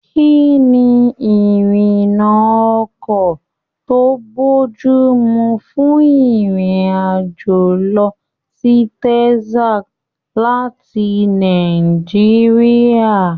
Kínní Irina ọkọ to bojumu fún irin-ajo lọ sí Texas láti Nàìjíríà?